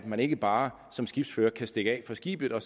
man ikke bare som skibsfører kan stikke af fra skibet og